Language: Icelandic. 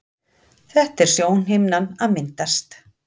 Þetta er sjónhimnan að myndast.